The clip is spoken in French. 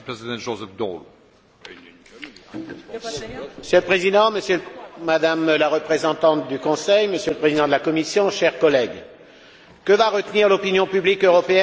Monsieur le Président, Madame la Présidente en exercice du Conseil, Monsieur le Président de la Commission, chers collègues, que va retenir l'opinion publique européenne de la réunion de ses dirigeants ce vendredi à Bruxelles?